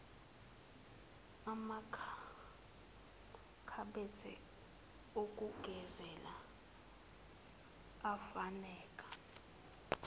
amakhabethe okugezela afuneka